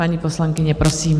Paní poslankyně, prosím.